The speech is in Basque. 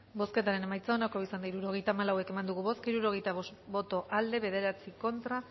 bozketaren emaitza onako izan da hirurogeita hamalau eman dugu bozka hirurogeita bost boto aldekoa nueve contra